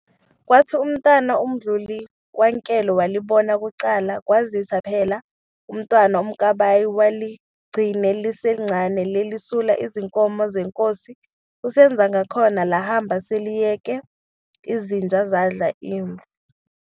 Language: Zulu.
Kwathi uMntwana uMudli kaNkwelo walibona kuqala, kwazise phela uMntwana uMkabayi wayeligcine liselincane, liselusa izinkomo zeNkosi uSenzangakhona, lahamba seliyeke izinja zadla imvu.